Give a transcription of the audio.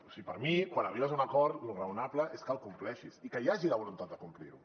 o sigui per mi quan arribes a un acord lo raonable és que el compleixis i que hi hagi la voluntat de complir lo